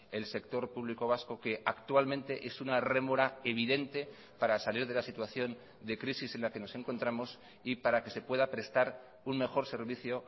el sector público vasco que actualmente es una rémora evidente para salir de la situación de crisis en la que nos encontramos y para que se pueda prestar un mejor servicio